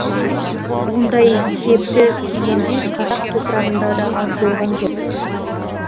ондай кепті кигендер қазақ топырағында да аз болған жоқ